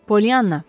Polyanna!